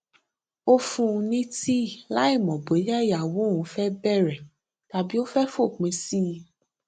ó fún un ní tíì láìmò bóyá ìyàwó òun fẹ bèrè tàbí ó fẹ fòpin sí i